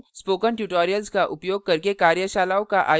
spoken tutorials का उपयोग करके कार्यशालाओं का आयोजन करती है